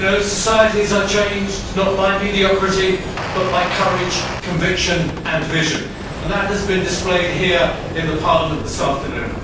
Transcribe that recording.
Societies are changed not by mediocrity but by courage, conviction and vision. And that has been displayed here in Parliament this afternoon.